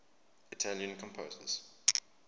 italian composers